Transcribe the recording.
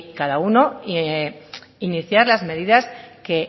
cada uno iniciar las medidas que